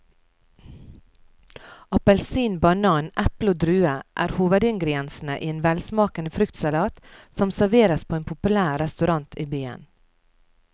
Appelsin, banan, eple og druer er hovedingredienser i en velsmakende fruktsalat som serveres på en populær restaurant i byen.